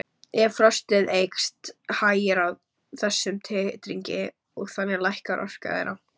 Ef frostið eykst hægir á þessum titringi og þannig lækkar orka þeirra.